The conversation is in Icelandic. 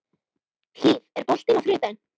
Hlíf, er bolti á þriðjudaginn?